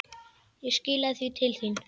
Ég skilaði því til þín.